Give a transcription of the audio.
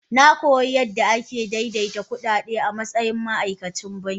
Na koyi yadda ake daidaita ma'ajiyar kuɗaɗe a matsayin ma'aikacin banki.